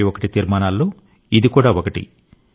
2021 తీర్మానాల్లో ఇది కూడా ఒకటి